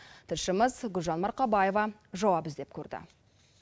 тілшіміз гүлжан марқабаева жауап іздеп көрді